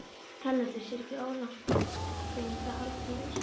Erlendis er ekki óalgengt að haldnir séu um